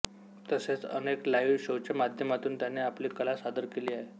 तसेच अनेक लाईव्ह शोच्या माध्यमातून त्याने आपली कला सादर केली आहे